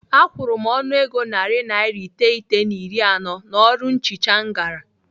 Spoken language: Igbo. Akwụrụ m ọnụego narị naira iteghete na iri anọ n'ọrụ nchicha m gara.